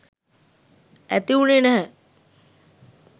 ඇති වුනේ නැහැ